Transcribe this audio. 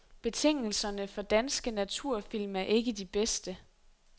Betingelserne for danske naturfilm er ikke de bedste.